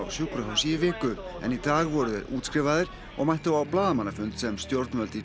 sjúkrahúsi í viku en í dag voru þeir útskrifaðir og mættu á blaðamannafund sem stjórnvöld í